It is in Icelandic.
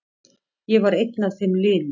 Ég var einn af þeim linu.